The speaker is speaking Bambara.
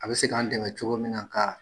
A be se k'an dɛmɛ cogo min na ka